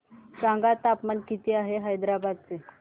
सांगा तापमान किती आहे हैदराबाद चे